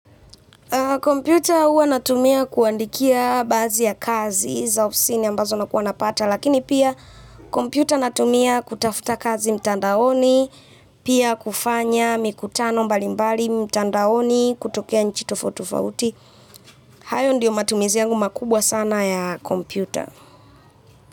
Computer huwa natumia kuandikia baazi ya kazi za ofisini ambazo nakuwa napata lakini pia, computer natumia kutafuta kazi mtandaoni pia kufanya mikutano mbali mbali mtandaoni kutokea nchi tofauti tofauti. Hayo ndo matumizi yangu makubwa s.